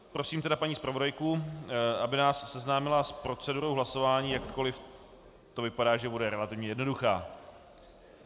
Prosím tedy paní zpravodajku, aby nás seznámila s procedurou hlasování, jakkoli to vypadá, že bude relativně jednoduchá.